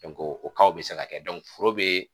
bi se ka kɛ foro be